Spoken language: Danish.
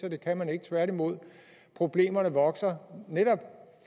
at det kan man ikke tværtimod problemerne vokser netop